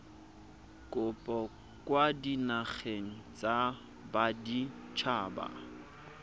kopo kwa dinageng tsa baditshaba